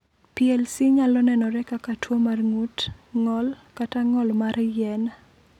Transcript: PLC nyalo nenore kaka tuo mar ng’ut, ng’ol, kata ng’ol mar yien.